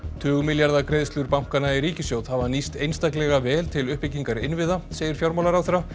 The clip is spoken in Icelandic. tugmilljarða greiðslur bankanna í ríkissjóð hafa nýst einstaklega vel til uppbyggingar innviða segir fjármálaráðherra